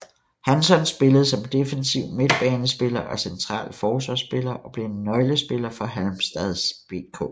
Hansson spillede som defensiv midtbanespiller og central forsvarspiller og blev en nøglespiller for Halmstads BK